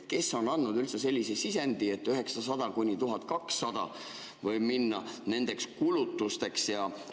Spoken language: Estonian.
Kes on andnud üldse sellise sisendi, et 900–1200 võib minna nendeks kulutusteks?